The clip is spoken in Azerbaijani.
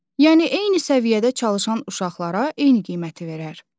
Yəni eyni səviyyədə çalışan uşaqlara eyni qiyməti verər.